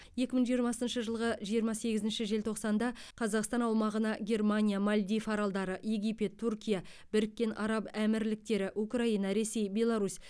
екі мың жиырмасыншы жылғы жиырма сегізінші желтоқсанда қазақстан аумағына германия мальдив аралдары египет түркия біріккен араб әмірліктері украина ресей беларусь